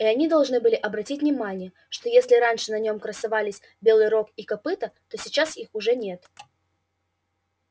и они должны были обратить внимание что если раньше на нём красовались белые рог и копыто то сейчас их уже нет